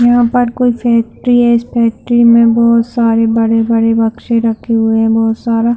यहाँ पर कोई फैक्ट्री है इस फैक्ट्री में बहोत सारे बड़े बड़े बक्से रखे हुए बहोत सारा--